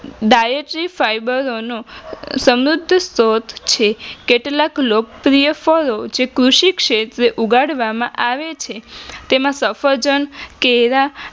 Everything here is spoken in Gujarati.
Diatery Fibre ઓનો સમૃદ્ધ સ્ત્રોત છે કેટલાક લોક પ્રિય ફળો જેવા કૃષિ ક્ષેત્રે ઉગાડવામાં આવે છે તેમાં સફરજન, કેળા